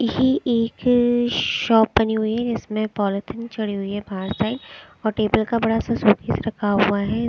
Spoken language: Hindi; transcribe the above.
ये एक शॉप बनी हुई है जिसमें पॉलिथीन चढ़ी हुई है बाहर साइड और टेबल का बड़ा सा शो पीस रखा हुआ है।